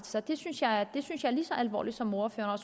sig det synes jeg er lige så alvorligt som ordføreren